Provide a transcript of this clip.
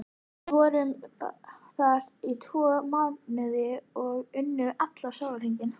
Við vorum þar í tvo mánuði og unnum allan sólarhringinn.